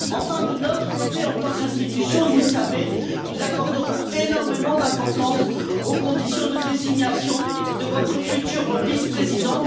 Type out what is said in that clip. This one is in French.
Enfin, de notre côté, en tant qu'institution, vous le savez, nous accorderons énormément d'importance aux conditions de désignation de votre futur vice président.